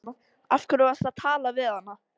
Af hverju varstu að tala við hana?